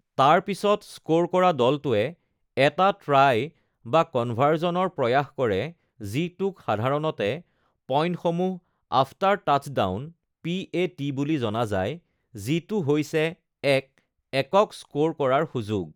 তাৰ পিছত স্ক'ৰ কৰা দলটোৱে এটা ট্ৰাই বা কনভাৰ্জনৰ প্ৰয়াস কৰে, যিটোক সাধাৰণতে পইণ্ট(সমূহ)-আফটাৰ-টাচডাউন (পি.এ.টি.) বুলি জনা যায়, যিটো হৈছে এক একক স্ক'ৰ কৰাৰ সুযোগ।